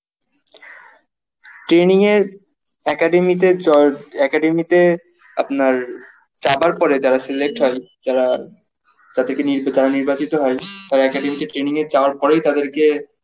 training এ academy তে চর academy তে আপনার যাবার পরে যারা select হয় যারা যাতে কি নির যারা নির্বাচিত হয় তারা academy তে training এ যাওয়ার পরেই তাদেরকে